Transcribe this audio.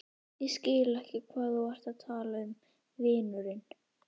Ég skil ekki hvað þú ert að tala um, vinurinn.